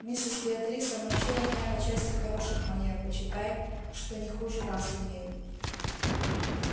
миссис беатриса научила меня по части хороших манер почитай что не хуже вас умею